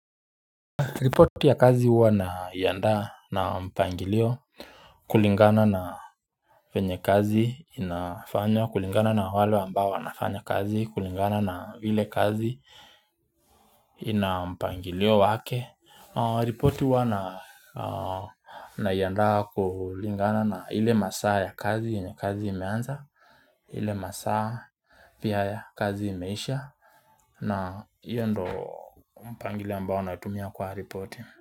Repoti ya kazi huwa na iandaa na mpangilio kulingana na venye kazi inafanywa, kulingana na wale ambao wanafanya kazi, kulingana na ile kazi ina mpangilio wake. Report huwa naiandaa kulingana na ile masaa ya kazi yenye kazi imeanza, ile masaa pia ya kazi imeisha na hiyo ndio mpangilio ambao wanatumia kwa repoti.